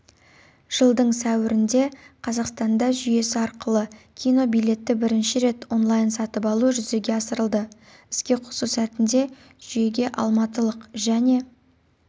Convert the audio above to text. жылдың сәуірінде қазақстанда жүйесі арқылы кинобилетті бірінші рет онлайн-сатып алу жүзеге асырылды іске қосу сәтінде жүйеге алматылық және